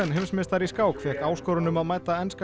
heimsmeistari í skák fékk áskorun um að mæta enska